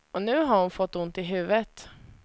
Och nu har hon fått ont i huvudet.